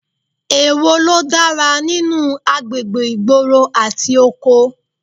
Èwo ló dára nínú agbègbè ìgboro àti oko?